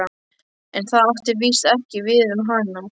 En það átti víst ekki við um hana.